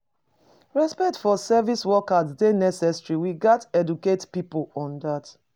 Respect for service workers dey necessary; we gats educate pipo on dat.